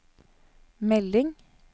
melding